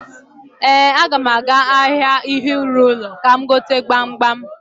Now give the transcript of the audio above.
Ee, aga m aga ahịa ihe ịrụ ụlọ ka m gote gbamgbam.